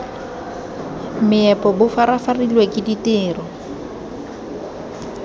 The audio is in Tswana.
meepo bo farafarilwe ke ditiro